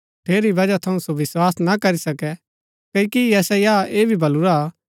ठेरी बजह थऊँ सो विस्वास ना करी सके क्ओकि यशायाह ऐह भी बलुरा हा